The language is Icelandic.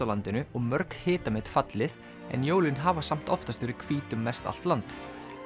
landinu og mörg hitamet fallið en jólin hafa samt oftast verið hvít um mestallt land